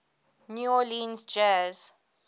new orleans jazz